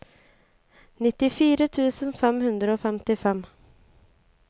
nittifire tusen fem hundre og femtifem